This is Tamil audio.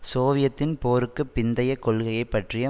சோவியத்தின் போருக்கு பிந்தைய கொள்கையை பற்றிய